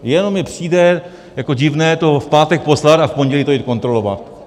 Jenom mi přijde jako divné to v pátek poslat a v pondělí to jít kontrolovat.